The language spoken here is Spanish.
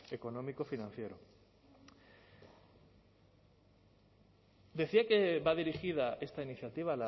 económico financiero decía que va dirigida esta iniciativa